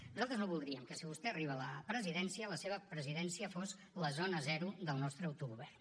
nosaltres no voldríem que si vostè arriba a la presidència la seva presidència fos la zona zero del nostre autogovern